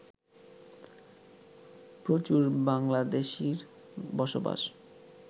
প্রচুর বাংলাদেশির বসবাস